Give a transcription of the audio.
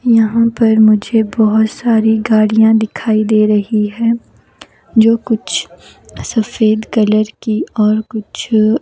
यहां पर मुझे बहुत सारी गाड़ियां दिखाई दे रही है जो कुछ सफेद कलर की और कुछ--